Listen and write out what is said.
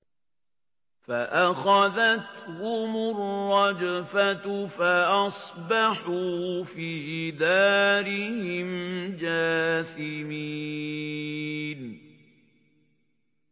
فَأَخَذَتْهُمُ الرَّجْفَةُ فَأَصْبَحُوا فِي دَارِهِمْ جَاثِمِينَ